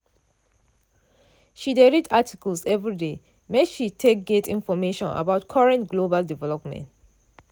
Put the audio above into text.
she dey read articles everyday make she take get information about current global development.